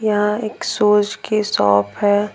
यहाँ एक शूज़ की शॉप है।